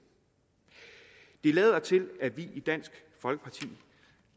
det lader til at vi i dansk folkeparti